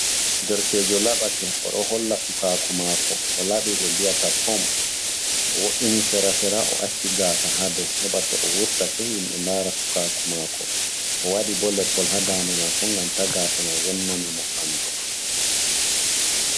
Derkejo laɓake, o ɗo holla sukaku mako. O laɓi ɓe mbi'ata pom. O wo'ini sera-sera o acci gaasa ha dou, heɓa to o wurtake himɓe lara sukaku mako. O waɗi bo leppol ha dande mako ngam ta gaasa mai wonna na mo ɓandu.